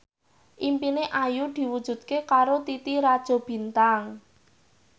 impine Ayu diwujudke karo Titi Rajo Bintang